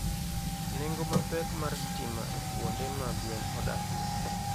Nengo mapek mar stima ekuonde ma gwen odakie.